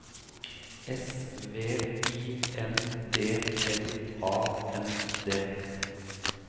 S V I N D L A N D